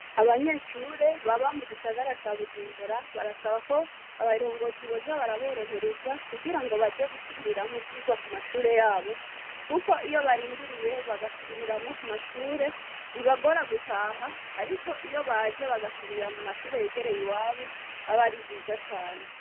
Abanyeshure baba mu gisagara ca bujumbura barasaba ko abarongozi boza baraborohereza kugira ngo baje gusubiriramwo ivyigwa ku mashure yabo, kuko iyo barindiriye bagasubiriramwo ku mashure bibagora gutaha, ariko iyo baje bagasubirira mu mashure yegereye i wabo abe ari vyiza cane.